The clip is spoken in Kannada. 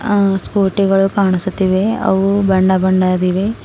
ಆ ಸ್ಕೂಟಿ ಗಳು ಕಾಣಿಸುತ್ತಿವೆ ಅವು ಬಣ್ಣ ಬಣ್ಣದ್ದಿವೆ.